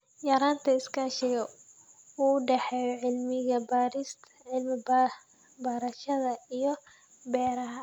Yaraynta iskaashiga u dhexeeya cilmi-baarayaasha iyo beeralayda.